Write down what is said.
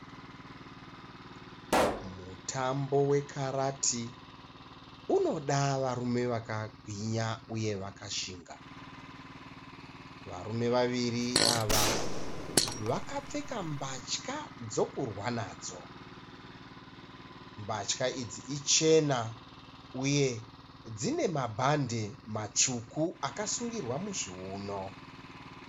Mutambo wekarati unoda varume vakagwinya uye vakashinga. Varume vaviri ava vakapfeka mbatya dzokurwa nadzo. Mbatya idzi ichena uye dzine mabhande matsvuku akasungirwa muzviuno.